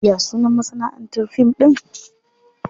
Ya sunan masanaʼantar fim ɗin?